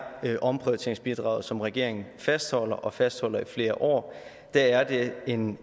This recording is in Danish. omprioriteringsbidraget som regeringen fastholder og fastholder i flere år en